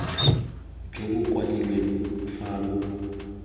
jo bo kwadilweng fa bo